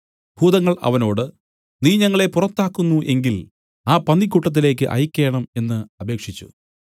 ഭൂതങ്ങൾ അവനോട് നീ ഞങ്ങളെ പുറത്താക്കുന്നു എങ്കിൽ ആ പന്നിക്കൂട്ടത്തിലേക്ക് അയയ്ക്കേണം എന്നു അപേക്ഷിച്ചു